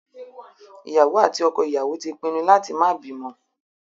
Ìyàwó àti ọkọ ìyàwó ti pinnu láti má bímọ